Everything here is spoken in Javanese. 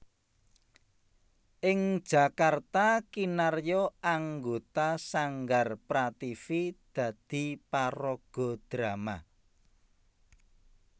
Ing Jakarta kinarya anggota Sanggar Prativi dadi paraga drama